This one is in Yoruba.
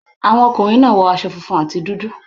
Àwọn akọrin náà wọ aṣọ funfun ài dúdú.